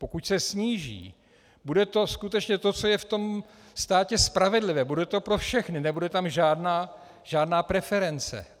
Pokud se sníží, bude to skutečně to, co je v tom státě spravedlivé, bude to pro všechny, nebude tam žádná preference.